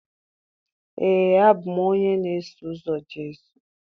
Ee, abụ m onye na-eso ụzọ Jesu